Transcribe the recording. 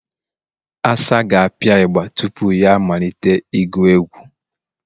Asa ga-apịa igba tupu ya amalite ịgụ egwụ